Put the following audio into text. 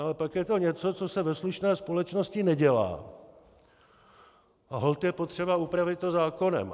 No ale pak je to něco, co se ve slušné společnosti nedělá, a holt je potřeba upravit to zákonem.